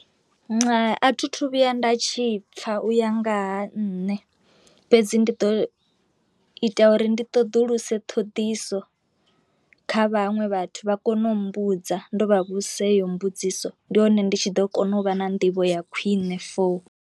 A thi thu vhuya nda tshi pfha uya ngaha nṋe fhedzi ndi ḓo ita uri ndi ṱoḓuluse ṱhoḓiso kha vhaṅwe vhathu vha kone u mmbudza ndo vha vhusa heyo mbudziso, ndi hone ndi tshi ḓo kona u vha na nḓivho ya khwine for.